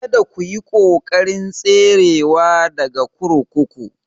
Kada ku yi ƙoƙarin tserewa daga kurkuku